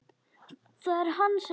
Það er hann sem ræður.